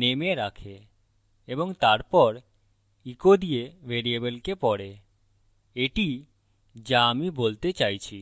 name এ রাখে এবং তারপর echo দিয়ে ভ্যারিয়েবলকে পড়ে এটি calls আমি বলতে চাইছি